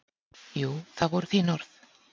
Jú, það voru þín orð.